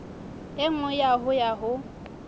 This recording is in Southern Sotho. e nngwe ho ya ho